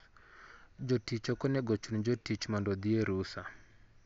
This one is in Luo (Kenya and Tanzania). Jotich ok onego ochun jotich mondo odhi e rusa.